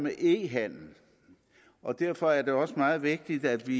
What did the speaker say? e handel og derfor er det også meget vigtigt at vi